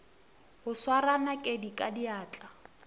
go swara nakedi ka diatla